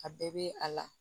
A bɛɛ bɛ a la